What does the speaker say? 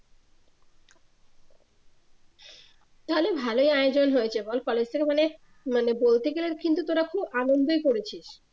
তাহলে ভালোই আয়োজন হয়েছে অল কলেজ থেকে বলে মানে বলতে গেলে কিন্তু তোরা খুব আনন্দই করেছিস।